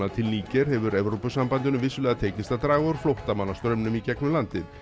til Níger hefur Evrópusambandinu vissulega tekist að draga úr flóttamannastraumnum í gegnum landið